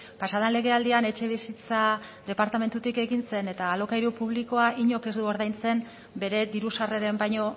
pasaden legealdian etxebizitza departamentutik egin zen eta alokairu publikoan inork ez du ordaintzen bere diru sarreren baino